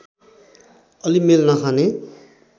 अलि मेल नखाने